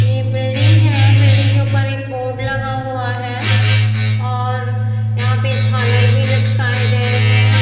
ये बिल्डिंग है बिल्डिंग के ऊपर एक बोर्ड लगा हुआ है और यहाँ पे झालर भी लटकाए गए हैं ।